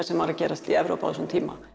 sem var að gerast í Evrópu á þessum tíma